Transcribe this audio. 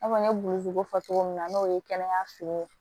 I n'a fɔ n ye burusiko fɔ cogo min na n'o ye kɛnɛyaso ye